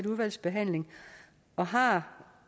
udvalgsbehandling og har